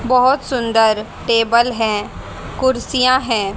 बहोत सुंदर टेबल है कुर्सियां हैं।